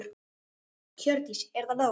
Hjördís: Er það nóg?